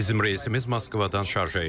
Bizim reysimiz Moskvadan şarjaya idi.